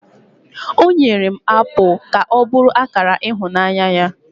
o nyere m apụl ka ọ bụrụ akara ịhụnanya ya